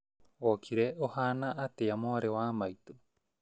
Wokĩra ũhana atĩa mwarĩ wa maitũ